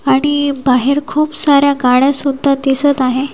आणि बाहेर खूप साऱ्या गाड्या सुद्धा दिसत आहे.